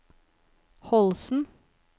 Holsen